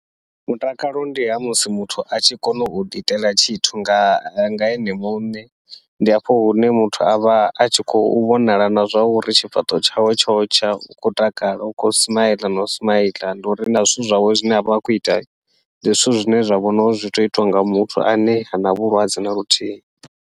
Mutakalo ndi ha musi muthu a tshi kona uḓi itela tshithu nga nga ene muṋe, ndi hafho hune muthu avha atshi khou vhonala na zwa uri tshifhaṱuwo tshawe tshotsha u khou takala u khou smile nau smile, ndi uri na zwithu zwawe zwine avha a khou ita ndi zwithu zwine zwa vhona uri zwi tea uitiwa nga muthu ane hana vhulwadze na vhuthihi.